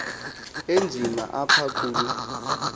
enzima apha kulo